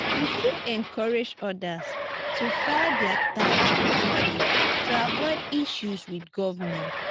we fit encourage others to file their taxes properly to avoid issues with government.